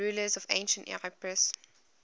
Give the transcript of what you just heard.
rulers of ancient epirus